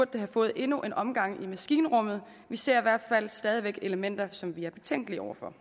det have fået endnu en omgang i maskinrummet vi ser i hvert fald stadig væk elementer som vi er betænkelige over for